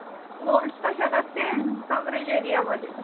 nodes कशात असते coverage area मध्ये